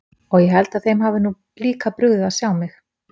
Og ég held að þeim hafi nú líka brugðið að sjá mig.